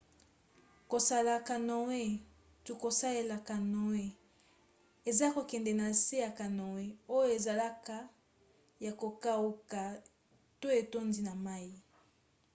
kosala canoe to: kosalela canoe eza kokende na se ya canoe oyo ezalaka ya kokauka to etondi na mai